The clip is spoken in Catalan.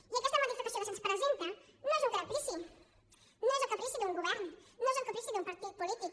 i aquesta modificació que se’ns presenta no és un caprici no és el caprici d’un govern no és el caprici d’un partit polític